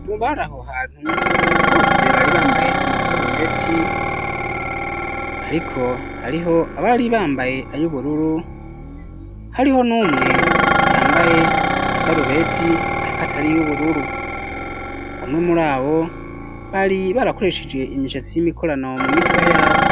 Mu bari aho hantu bose bari bambaye amasarubeti ariko hariho abari bambaye ayubururu hariho numwe yambaye isarubeti ariko atari y'ubururu bamwe muri abo bari barakoresheje imishatsi y'imikorano mu mitwe yabo.